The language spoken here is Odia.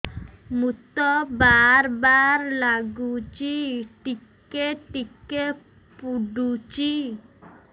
ମୁତ ବାର୍ ବାର୍ ଲାଗୁଚି ଟିକେ ଟିକେ ପୁଡୁଚି